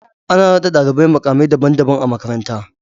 Ana naɗa ɗalibai muƙa mai daban daban a makaranta